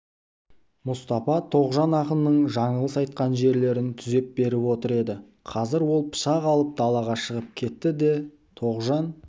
мұстапа тоғжан ақынның жаңылыс айтқан жерлерін түзеп беріп отыр еді қазір ол пышақ алып далаға шығып кетті де тоғжан